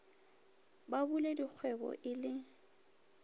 ba bule dikgwebo e le